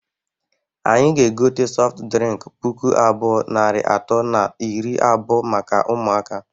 Anyị ga-egote sọft drịnk puku abụọ, narị atọ na iri abụọ maka ụmụaka.